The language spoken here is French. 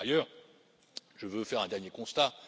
Par ailleurs, je veux faire un dernier constat.